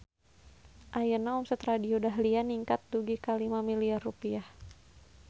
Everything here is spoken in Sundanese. Ayeuna omset Radio Dahlia ningkat dugi ka 5 miliar rupiah